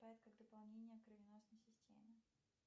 как дополнение кровеносной системе